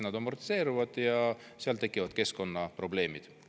Nad amortiseeruvad ja seal tekivad keskkonnaprobleemid.